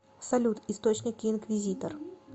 салют источники инквизитор